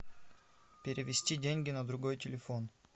перевести деньги на другой телефон